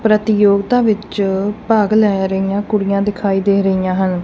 ਪ੍ਰਤੀਯੋਗਤਾ ਵਿੱਚ ਭਾਗ ਲੈ ਰਹੀਆਂ ਕੁੜੀਆਂ ਦਿਖਾਈ ਦੇ ਰਹੀਆਂ ਹਨ।